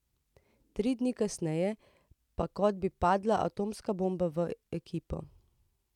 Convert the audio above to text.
Tri dni kasneje pa kot bi padla atomska bomba v ekipo.